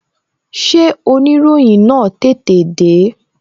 Ṣé oniroyin na tètè de?